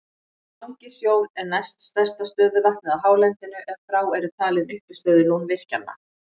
Langisjór er næst stærsta stöðuvatnið á hálendinu ef frá eru talin uppistöðulón virkjanna.